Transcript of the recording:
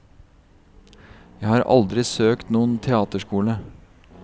Jeg har aldri søkt noen teaterskole.